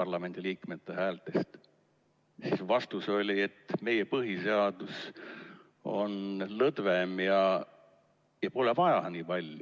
parlamendiliikmete häältest, siis vastus oli, et meie põhiseadus on lõdvem ja pole vaja nii palju.